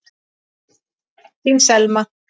Þín Selma.